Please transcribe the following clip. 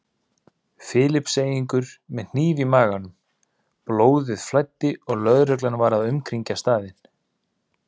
Filippseyingur með hníf í maganum, blóðið flæddi og lögreglan var að umkringja staðinn.